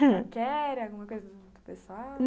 Não queria alguma coisa pessoal?